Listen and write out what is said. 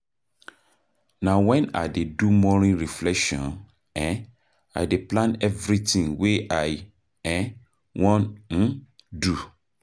Na wen I dey do morning reflection um I dey plan everytin wey I wan um do.